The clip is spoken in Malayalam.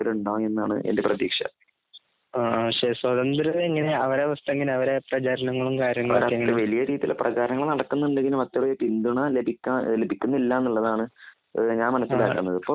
തിരഞ്ഞ് എടുപ്പിൽ ഉണ്ടാവും എന്നാണ് എന്റെ പ്രതീക്ഷ അവരുടെ അവസ്ഥ വലിയ രീതിയിൽ ഉള്ള പ്രചാരണങ്ങൾ നടക്കുന്നുണ്ടെങ്കിലും അത്രേ പിന്തുണ ലഭിക്കുന്നില്ല എന്നുള്ളത് ആണ് ഞാൻ മനസിലാകുന്നത് .